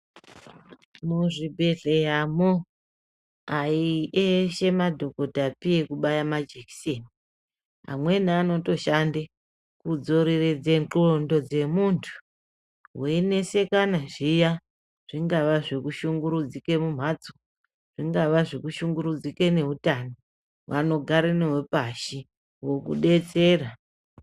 Muzvibhedhleyamo aieshe madhokodhapi ekubaya majekiseni. Amweni anotoshande kudzoreredze ndxondo dzemuntu weinesekane zviya, zvingava zvekushungurudzike mumhatso, zvingava zvekushungurudzike neutano, vanogare newe pashi, vokudetsera.